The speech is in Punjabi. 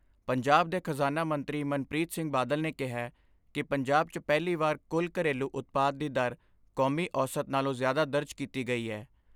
ਪੰਜਾਬ ਦੇ ਖਜਾਨਾ ਮੰਤਰੀ ਮਨਪ੍ਰੀਤ ਸਿੰਘ ਬਾਦਲ ਨੇ ਕਿਹੈ ਕਿ ਪੰਜਾਬ 'ਚ ਪਹਿਲੀ ਵਾਰ ਕੁੱਲ ਘਰੇਲੂ ਉਤਪਾਦ ਦੀ ਦਰ ਕੌਮੀ ਔਸਤ ਨਾਲੋਂ ਜ਼ਿਆਦਾ ਦਰਜ ਕੀਤੀ ਗਈ ਐ।